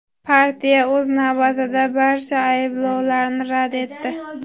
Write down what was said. Partiya, o‘z navbatida, barcha ayblovlarni rad etdi.